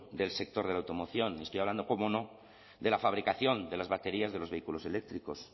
del sector de la automoción y estoy hablando cómo no de la fabricación de las baterías de los vehículos eléctricos